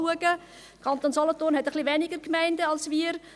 Der Kanton Solothurn hat etwas weniger Gemeinden als wir.